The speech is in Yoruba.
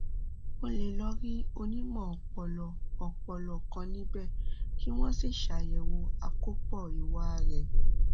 o lè lọ rí onímọ ọpọlọ ọpọlọ kan níbẹ kí wọn sì ṣe àyẹwò àkópọ ìwà rẹ